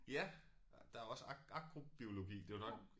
Ja der også agrobiologi det jo nok